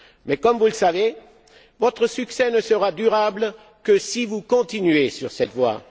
Mais, comme vous le savez, votre succès ne sera durable que si vous continuez sur cette voie.